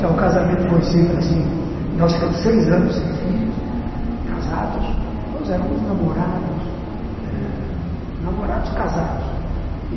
Então, o casamento foi sempre assim, nós ficamos seis anos sem filhos, casados, nós éramos namorados ãh...namorados casados.